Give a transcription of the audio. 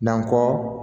Nankɔ